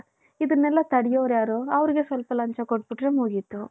ಇದೆನೆಲ್ಲ ತಡಿಯೋರ್ ಯಾರು ಅವರಿಗೆ ಸ್ವಲ್ಪ ಲಂಚ ಕೊಟ್ಬುಟ್ರೆ ಮುಗಿತು.